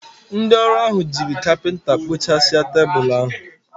Ndị ọrụ ahụ jiri jigi kapinta kpụ̀chàsia tebụl ahụ.